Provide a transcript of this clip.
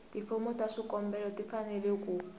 tifomo ta swikombelo tifanele ku